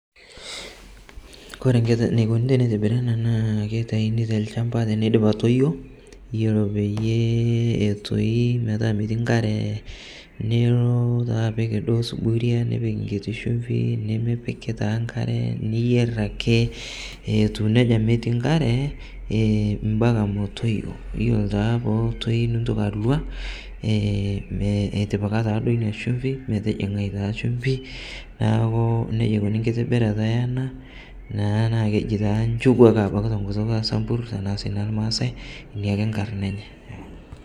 Kore neikooni tenetibiri ana naa keitaiini te lchaamba tene idiip aitoyoo kore pee etooi metaa metii nkaare niloo taa apiik doo sufuria ,nipiik nkitii shuumfi , nimipiik taa nkaare niyeer ake atuu nejaa nemetii nkaare eeh mpakaa meetoiyo. Iyeloo taa poo otoii nitooki aluaa ee itipikaa taa doo enia shuumfi metijing'ai taa shumfii. Naaku nejaa eikooni nkitibirata ana naa kejii nchuuju ake abaki te nkutuuk e sambuur tana sii ne maasai nia ake nkaarina enyee.